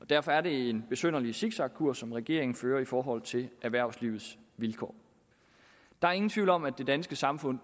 derfor er det en besynderlig zigzagkurs som regeringen fører i forhold til erhvervslivets vilkår der er ingen tvivl om at det danske samfund